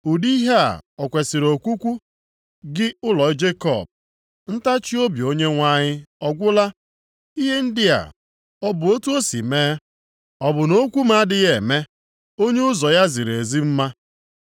Ụdị ihe a o kwesiri okwukwu, gị ụlọ Jekọb? “Ntachiobi Onyenwe anyị ọ gwụla? Ihe ndị a ọ bụ otu o si eme?” “Ọ bụ na okwu m adịghị eme onye ụzọ ya ziri ezi mma?